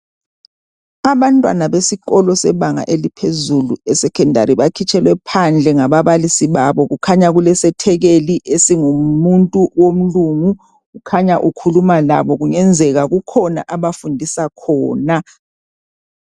Abantwana besikolo sebanga eliphezulu esecondary bakhitshelwe phandle ngaba balisi babo kukhanya kulesethekeli esingumuntu womlungu kukhanya ukhuluma labo kungenzeka kukhona abafundisa khona.